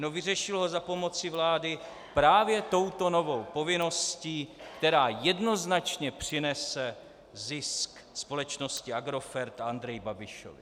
No vyřešil ho za pomocí vlády právě touto novou povinností, která jednoznačně přinese zisk společnosti Agrofert a Andreji Babišovi.